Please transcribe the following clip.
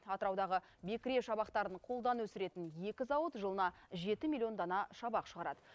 атыраудағы бекіре шабақтарын қолдан өсіретін екі зауыт жылына жеті миллион дана шабақ шығарады